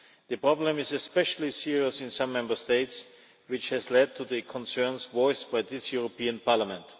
The problem is especially serious in some Member States, which has led to the concerns voiced by this European Parliament.